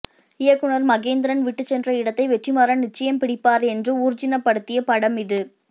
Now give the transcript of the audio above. இயக்குனர் மகேந்திரன் விட்டு சென்ற இடத்தை வெற்றிமாறன் நிச்சயம் பிடிப்பார் என்று ஊர்ஜினப்படுத்திய படம் இது